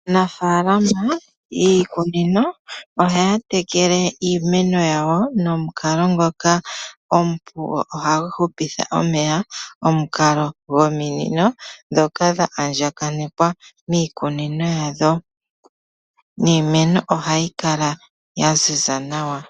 Aanafaalama yiikunino ohaa tekele iimeno yawo nomukalo ngoka omupu go ohagu hupitha omeya, omukalo gominino ndhoka dha andjakanekwa miikunino yadho, niimeno ohayi kala ya ziza nawa.